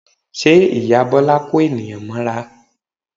Ṣe ìyá Bọ́lá ń kó ènìyàn mọ́ra?